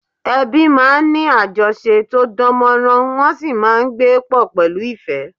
Ẹbí máa ń ní àjọṣe tó dán mọ́rán, wọ́n sì máa ń gbé pọ̀ pẹ̀lú ìfẹ́